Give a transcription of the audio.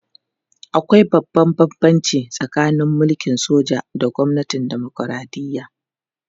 Akwai babban bambanci tsakanin mulkin soja da gwamnatin dimokuradiyya